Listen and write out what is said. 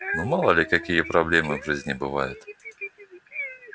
ну мало ли какие проблемы в жизни бывают